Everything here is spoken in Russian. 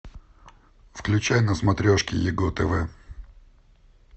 включай на смотрешке его тв